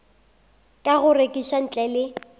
ka go rekiša ntle le